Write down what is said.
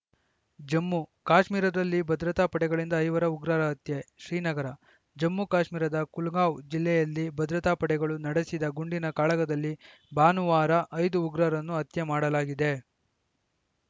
ಜಮ್ಮು ಕಾಶ್ಮೀರದಲ್ಲಿ ಭದ್ರತಾ ಪಡೆಗಳಿಂದ ಐವರು ಉಗ್ರರ ಹತ್ಯೆ ಶ್ರೀನಗರ ಜಮ್ಮು ಕಾಶ್ಮೀರದ ಕುಲ್ಗಾಂವ್‌ ಜಿಲ್ಲೆಯಲ್ಲಿ ಭದ್ರತಾ ಪಡೆಗಳು ನಡೆಸಿದ ಗುಂಡಿನ ಕಾಳಗದಲ್ಲಿ ಭಾನುವಾರ ಐದು ಉಗ್ರರನ್ನು ಹತ್ಯೆ ಮಾಡಲಾಗಿದೆ